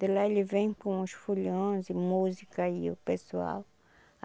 De lá ele vem com os foliões e música e o pessoal.